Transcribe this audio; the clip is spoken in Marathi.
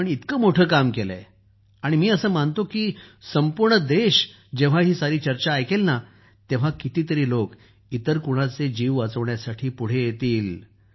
आपण इतकं मोठं काम केलं आहे आणि मी असं मानतो की पूर्ण देश जेव्हा ही सारी चर्चा ऐकेल तेव्हा कितीतरी लोक इतर कुणाचे जीव वाचवण्यासाठी पुढे येतील